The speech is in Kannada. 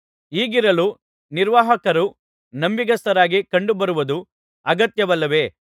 ಹೀಗಿರಲು ನಿರ್ವಾಹಕರು ನಂಬಿಗಸ್ತರಾಗಿ ಕಂಡುಬರುವದು ಅಗತ್ಯವಲ್ಲವೇ